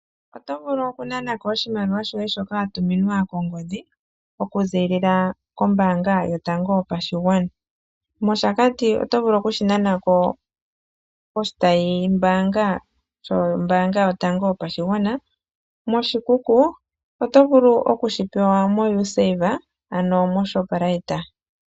Oto vulu okunanako oshimaliwa shoye shoka wa tuminwa kongodhi, okuzilila kombaanga yotango yopashigwana. MOshakati oto vulu okushi nanako poshitayimbaanga yotango yopashigwana, mOshikuku oto vulu okushi pewa moUsave, ano moShoprite.